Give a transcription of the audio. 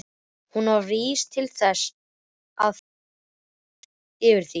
Hún var vís til þess að fyrtast yfir því.